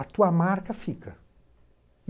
A tua marca fica.